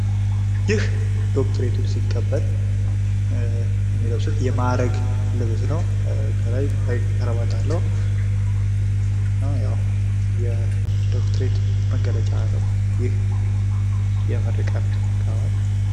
ይህ ዶክትሬቱን ሲቀበል የሚያረጉት የማዕረግ ልብስ ነው። ከላይ ከረባት አለው እና ያው የዶክትሬት መገለጫ ነው። ይህ የምረቃን ጋወን